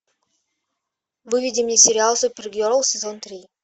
выведи мне сериал супергерл сезон три